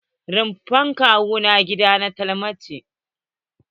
Rofin kwanon gida na ta dalma ce.